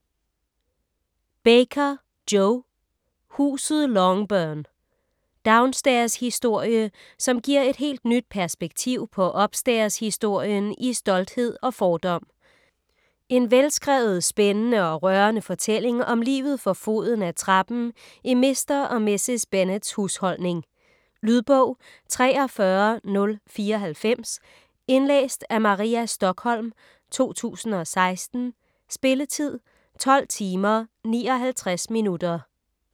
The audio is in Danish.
Baker, Jo: Huset Longbourn Downstairs-historie som giver et helt nyt perspektiv på upstairs-historien i "Stolthed og fordom". En velskrevet, spændende og rørende fortælling om livet for foden af trappen i Mr. og Mrs. Bennets husholdning. Lydbog 43094 Indlæst af Maria Stokholm, 2016. Spilletid: 12 timer, 59 minutter.